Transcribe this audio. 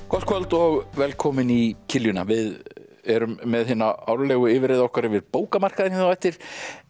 gott kvöld og velkomin í við erum með hina árlegu yfirreið okkar yfir bókamarkaðinn á eftir